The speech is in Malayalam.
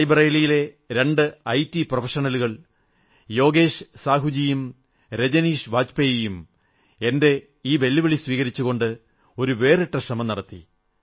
റായ്ബറേലിയിലെ രണ്ടു ഐ ടി പ്രൊഫഷണലുകൾ യോഗേശ് സാഹുജിയും രജനീശ് വാജ്പേയിജി യും എന്റെ ഈ വെല്ലുവിളി സ്വീകരിച്ചുകൊണ്ട് ഒരു വേറിട്ട ശ്രമം നടത്തി